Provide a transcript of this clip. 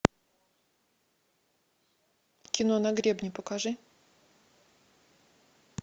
кино на гребне покажи